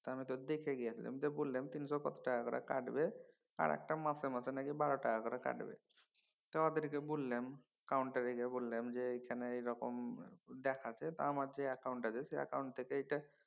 ত আমি তো দেখে গিয়েছিলাম তিনশ কত টাকা করে কাটবে আর একটা মাসে মাসে নাকি বারো টাকা করে কাটবে তো ওদেরকে বল্লেম counter এ গিয়ে বললাম এখানে এরকম দেখাচ্ছে। তো অ্যাকাউন্ট আছে সে অ্যাকাউন্ট থেকে সেটা